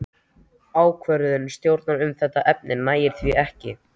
Ákvörðun stjórnar um þetta efni nægir því ekki.